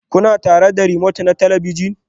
Kuna tare da remote na talabijin?